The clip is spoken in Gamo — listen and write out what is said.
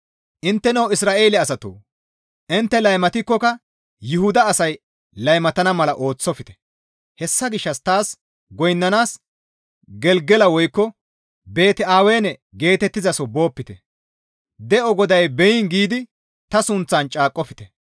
«Intteno Isra7eele asatoo! Intte laymatikkoka Yuhuda asay laymatana mala ooththofte; hessa gishshas taas goynnanaas Gelgela woykko Beeti-Awene geetettizaso boopite; ‹De7o GODAY beyiin› giidi ta sunththan caaqqofte.